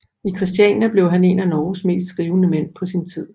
I Christiania blev han en af Norges mest skrivende mænd på sin tid